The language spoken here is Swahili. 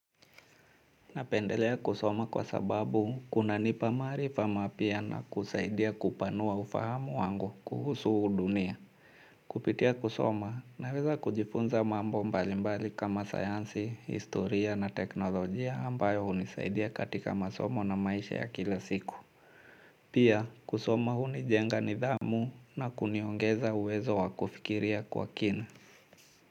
Napendelea kusoma kwa sababu kuna nipa maarifa mapya na kusaidia kupanua ufahamu wangu kuhusu huu dunia. Kupitia kusoma naweza kujifunza mambo mbalimbali kama sayansi, historia na teknolojia ambayo hunisaidia katika masomo na maisha ya kila siku. Pia kusoma hunijenga nidhamu na kuniongeza uwezo wa kufikiria kwa kina.